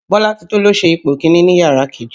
Bọ́látitó ló ṣe ipò kiní ní yàrá kejì